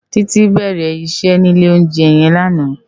Titi bèrè iṣè ni ilé óunjè yèn làná